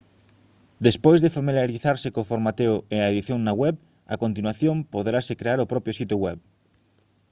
despois de familiarizarse co formateo e a edición na web a continuación poderase crear o propio sitio web